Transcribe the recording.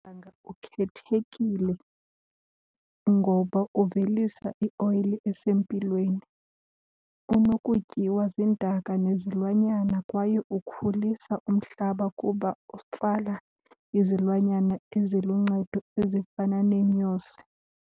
ukhethekile ngoba uvelisa ioyile esempilweni, unokutyiwa ziintaka nezilwanyana kwaye ukhulisa umhlaba kuba utsala izilwanyana eziluncedo ezifana neenyosi.